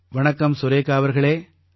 வணக்கம் சுரேகா அவர்களே